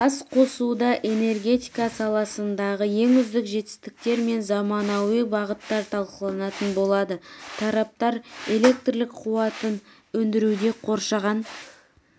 басқосуда энергетика саласындағы ең үздік жетістіктер мен заманауи бағыттар талқыланатын болады тараптар электр қуатын өндіруде қоршаған